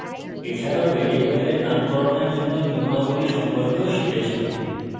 এছাড়াও ভ্যারিয়েবলের নামকরণের জন্য নিয়মাবলী সম্পর্কেও শিখেছি